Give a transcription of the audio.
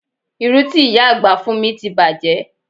Irú ti ìyá àgbà fún mi ti bàjé